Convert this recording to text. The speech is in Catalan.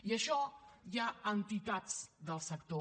i això hi ha entitats del sector